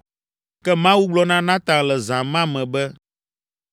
Ke Mawu gblɔ na Natan le zã ma me be,